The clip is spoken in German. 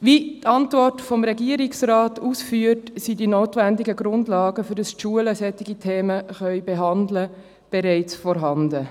Wie die Antwort des Regierungsrates ausführt, sind die notwendigen Grundlagen, damit die Schulen solche Themen behandeln können, bereits vorhanden.